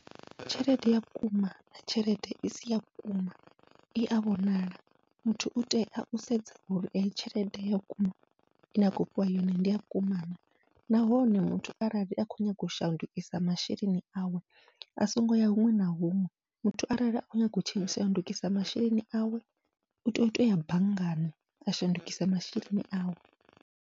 Tshelede ya vhukuma na tshelede isi ya vhukuma iya vhonala, muthu utea u sedza uri eyi tshelede ya vhukuma ine a khou fhiwa yone ndi ya vhukuma na. Nahone muthu arali akho nyaga u shandukisa masheleni awe a songo ya huṅwe na huṅwe, muthu arali a khou nyaga u shandukisa masheleni awe utea utoya banngani a shandukisa masheleni awe.